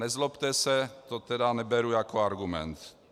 Nezlobte se, to tedy neberu jako argument.